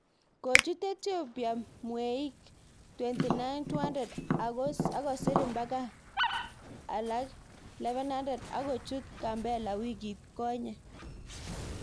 Kochut Ethiopia Mweik 292000 ako sir mbaka alage 11000 ak kochut Gambella wikit konye